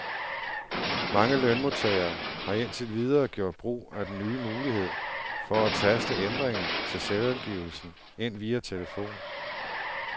Mange lønmodtagere har indtil videre gjort brug af den nye mulighed for at taste ændringer til selvangivelsen ind via telefon.